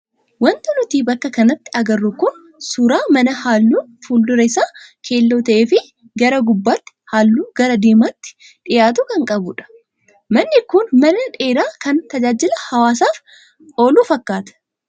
Wanti nuti bakka kanatti agarru kun suuraa mana halluun fuuldura isaa keelloo ta'ee fi gara gubbaatti halluu gara diimaatti dhiyaatu kan qabudha. Manni kun mana dheeraa kan tajaajila hawaasaaf oolu fakkaata.